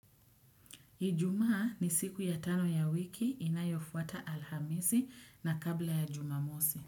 Ijuma ni siku ya tano ya wiki inayofuata alhamisi na kabla ya jumamosi.